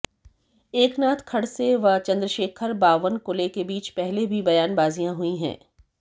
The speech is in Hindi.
एकनाथ खडसे व चंद्रशेखर बावनकुले के बीच पहले भी बयानबाजियां हुई है